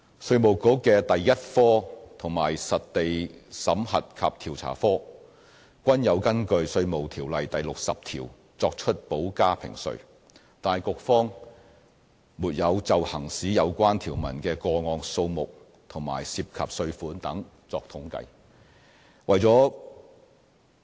稅務局的第一科和實地審核及調查科均有根據《稅務條例》第60條作出補加評稅，但局方沒有就行使有關條文的個案數目和涉及稅款等作統計。